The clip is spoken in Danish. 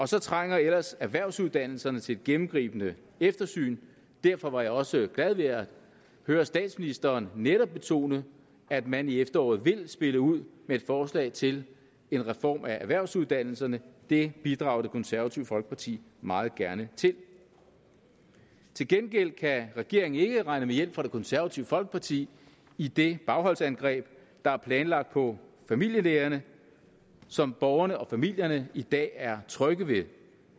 så trænger erhvervsuddannelserne ellers til et gennemgribende eftersyn derfor var jeg også glad ved at høre statsministeren netop betone at man i efteråret vil spille ud med et forslag til en reform af erhvervsuddannelserne det bidrager det konservative folkeparti meget gerne til til gengæld kan regeringen ikke regne med hjælp fra det konservative folkeparti i det bagholdsangreb der er planlagt på familielægerne som borgerne og familierne i dag er trygge ved